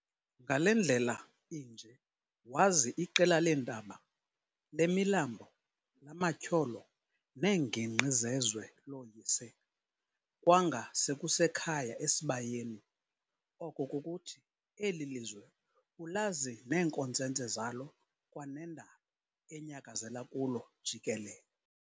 Ngale ndlela inje wazi iqela leentaba, lemilambo, lamatyholo neengingqi zezwe looyise, kwanga sekusekhaya esibayeni, oko kukuthi eli lizwe ulazi neenkontsentse zalo kwanendalo enyakazela kulo jikelele.